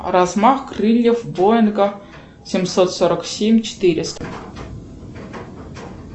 размах крыльев боинга семьсот сорок семь четыреста